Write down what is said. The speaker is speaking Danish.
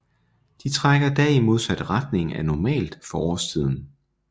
De trækker da i modsat retning af normalt for årstiden